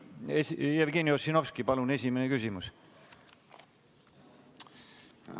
Jevgeni Ossinovski, palun esimene küsimus!